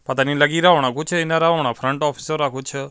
ਪਤਾ ਨਹੀਂ ਲਗੋ ਰਿਹਾ ਹੋਣਾ ਕੁੱਛ ਇਹਨਾਂ ਦਾ ਫਰੰਟ ਔਫੀਸੋ ਰਾ ਕੁਛ --